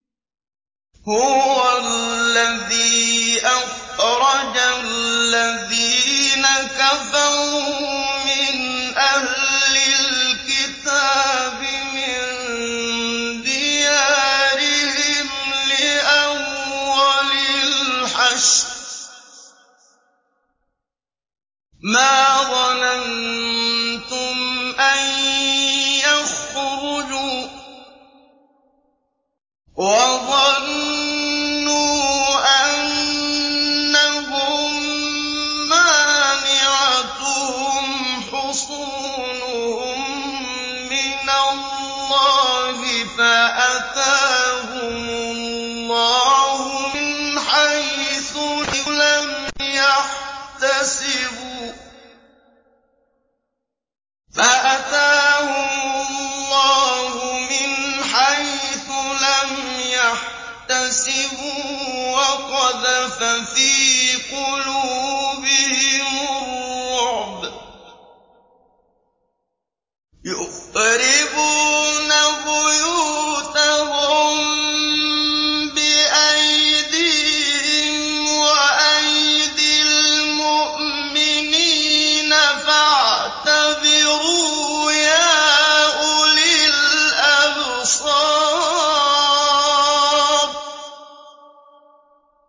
هُوَ الَّذِي أَخْرَجَ الَّذِينَ كَفَرُوا مِنْ أَهْلِ الْكِتَابِ مِن دِيَارِهِمْ لِأَوَّلِ الْحَشْرِ ۚ مَا ظَنَنتُمْ أَن يَخْرُجُوا ۖ وَظَنُّوا أَنَّهُم مَّانِعَتُهُمْ حُصُونُهُم مِّنَ اللَّهِ فَأَتَاهُمُ اللَّهُ مِنْ حَيْثُ لَمْ يَحْتَسِبُوا ۖ وَقَذَفَ فِي قُلُوبِهِمُ الرُّعْبَ ۚ يُخْرِبُونَ بُيُوتَهُم بِأَيْدِيهِمْ وَأَيْدِي الْمُؤْمِنِينَ فَاعْتَبِرُوا يَا أُولِي الْأَبْصَارِ